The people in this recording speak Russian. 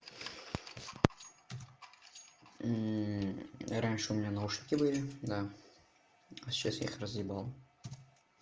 раньше у меня наушники были да а сейчас я их разъебал